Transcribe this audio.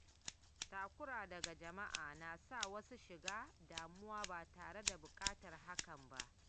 Takura daga jama’a na sa wasu shiga damuwa ba tare da buƙatar hakan ba.